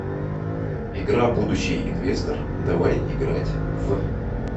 игра будущий инвестор давай играть в